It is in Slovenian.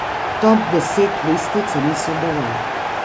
Top deset lestvice niso dovolj.